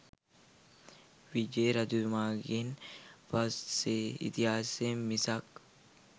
විජය රජතුමාගෙන් පස්සේ ඉතිහාසය මිසක්